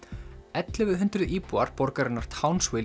ellefu hundruð íbúar borgarinnar